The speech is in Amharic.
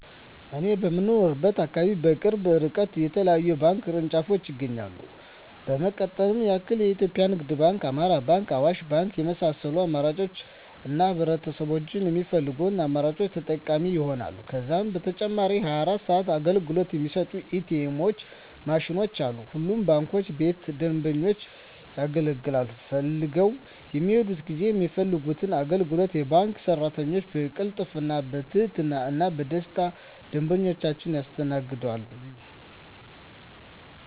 እኔ በምኖርበት አካባቢ በቅርብ እርቀት የተለያዩ የባንክ ቅርንጫፎች ይገኛሉ ለመጥቀስ ያክል ኢትዮጵያ ንግድ ባንክ፣ አማራ ባንክ፣ አዋሽ ባንክ የመሳሰሉት አማራጮች አሉ ህብረተሰቡም በሚፈልገው አማራጮች ተጠቃሚ ይሆናሉ። ከዛም በተጨማሪ 24 ሰዓት አገልግሎት የሚሰጡ ኢ.ቲ. ኤምዎች ማሽኖችም አሉ። ሁሉም ባንክ ቤቶች ደንበኞች አገልግሎት ፈልገው በሚሔዱበት ጊዜ የሚፈልጉትን አገልግሎት የባንክ ቤት ሰራተኞች በቅልጥፍና፣ በትህትና እና በደስታና ደንበኞቻቸውን ያስተናግዷቸዋል! ዠ።